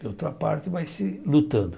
De outra parte, vai ser lutando.